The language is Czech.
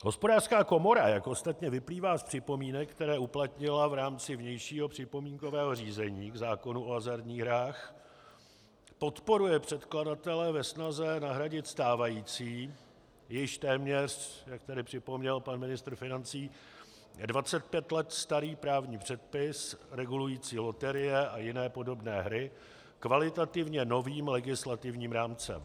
Hospodářská komora, jak ostatně vyplývá z připomínek, které uplatnila v rámci vnějšího připomínkového řízení k zákonu o hazardních hrách, podporuje předkladatele ve snaze nahradit stávající, již téměř, jak tady připomněl pan ministr financí, 25 let starý právní předpis regulující loterie a jiné podobné hry, kvalitativně novým legislativním rámcem.